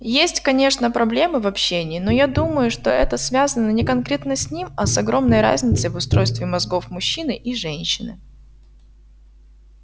есть конечно проблемы в общении но я думаю что это связано не конкретно с ним а с огромной разницей в устройстве мозгов мужчины и женщины